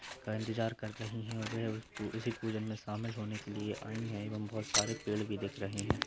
का इंतजार कर रही है वे उ उसी पूजन में शामिल होने के लिए आई हैं एवं बहुत सारे पेड़ भी दिख रहे हैं।